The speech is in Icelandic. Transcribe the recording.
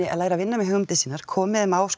læri að vinna með hugmyndir sínar komi þeim á